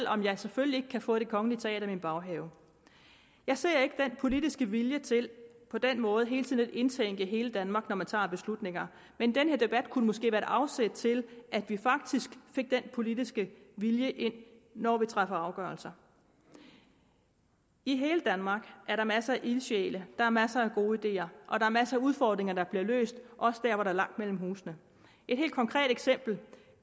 om man selvfølgelig ikke kan få det kongelige teater i sin baghave jeg ser ikke den politiske vilje til på den måde hele tiden at indtænke hele danmark når man tager beslutninger men den her debat kunne måske være et afsæt til at vi faktisk fik den politiske vilje ind når vi træffer afgørelser i hele danmark er der masser af ildsjæle der er masser af gode ideer og der er masser af udfordringer der bliver løst også der hvor der er langt mellem husene et helt konkret eksempel